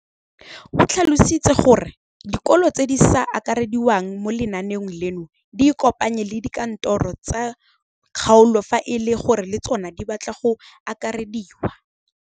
O tlhalositse gore dikolo tse di sa akarediwang mo lenaaneng leno di ikopanye le dikantoro tsa kgaolo fa e le gore le tsona di batla go akarediwa.